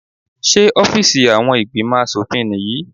Ṣé ọ́fíìsì àwọn ìgbìmò aṣòfin nìyí?